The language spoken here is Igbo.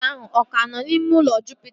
Dọkịta ahụ aka nọ n'ime ụlọ njupụta?